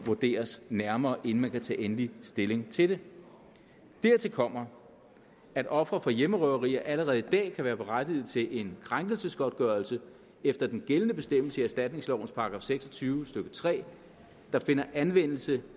vurderes nærmere inden man kan tage endelig stilling til det dertil kommer at ofre for hjemmerøverier allerede i dag kan være berettigede til en krænkelsesgodtgørelse efter den gældende bestemmelse i erstatningslovens § seks og tyve stykke tre der finder anvendelse